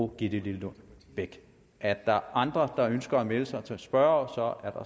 gitte lillelund bech er der andre der ønsker at melde sig som spørgere